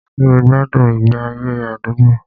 Ṣé o gbádùn ìgbé ayé àdúgbò?